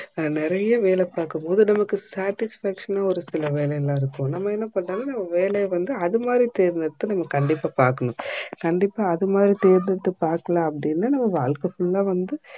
நான் நெரையா வேல பாக்கும்போது நமக்கு satisfaction னு இருக்குல்ல நம்ப என்ன பண்ணனும் நம்ப வேலைய வந்து அது மாதிரி என்ன தேர்தெடுத்து கண்டிப்பா பாக்கணும் கண்டிப்பா அதுமாதிரி தேர்தெடுத்து பாக்கல அப்டினா நம்ப வாழ்க full ஆ வந்து